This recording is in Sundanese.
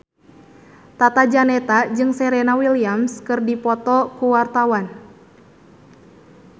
Tata Janeta jeung Serena Williams keur dipoto ku wartawan